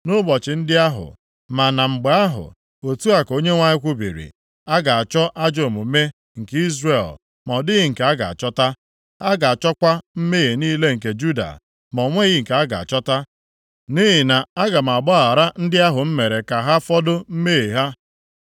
Nʼụbọchị ndị ahụ, ma na mgbe ahụ,” otu a ka Onyenwe anyị kwubiri, “a ga-achọ ajọọ omume nke Izrel, ma ọ dịghị nke a ga-achọta. A ga-achọkwa mmehie niile nke Juda, ma o nweghị nke a ga-achọta, nʼihi na aga m agbaghara ndị ahụ m mere ka ha fọdụ mmehie ha.